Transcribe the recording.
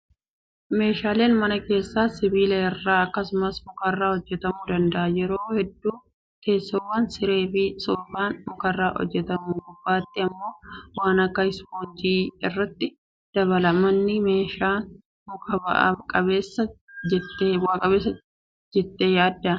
Meeshaaleen mana keessaa sibiila irraa akkasumas mukarraa hojjatamuu danda'a. Yeroo hedduu teessoowwan, siree fi soofaan mukarraa hojjatamee gubbaatti immoo waan akka ispoonjii irratti dabala. Manni maashina mukaa bu'aa qabeessa jettee yaaddaa?